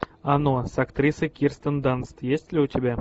оно с актрисой кирстен данст есть ли у тебя